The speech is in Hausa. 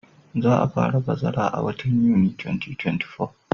Za a fara bazara a watan Yuni 2024.